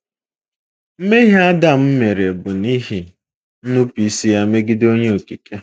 Mmehie Adam mere bụ n’ihi nnupụisi ya megide Onye Okike.